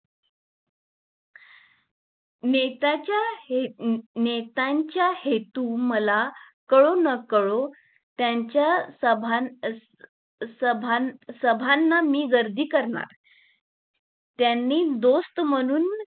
नेताच्या हे नेताच्या हेतू मला कडू व ना कडू त्यांच्या सभा सभांना मी गर्दी करणार, त्यांनी दोस्त म्हणून